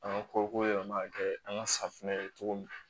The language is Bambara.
An ka koko yɛlɛma kɛ an ka safinɛ ye cogo min